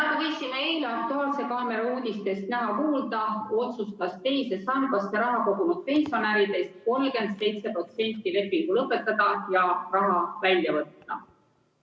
Nagu võisime eile "Aktuaalse kaamera" uudistest näha ja kuulda, otsustas teise sambasse raha kogunud pensionäridest 37% lepingu lõpetada ja raha välja võtta.